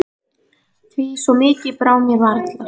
Því svo mikið brá mér varla.